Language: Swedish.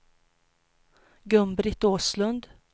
Gun-Britt Åslund